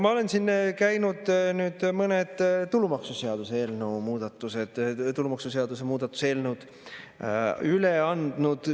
Ma olen siin käinud ja mõned tulumaksuseaduse muutmise eelnõud üle andnud.